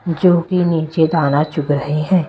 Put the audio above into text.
जो कि नीचे दाना चुग रहे हैं।